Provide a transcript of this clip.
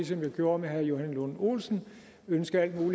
som jeg gjorde med herre johan lund olsen ønske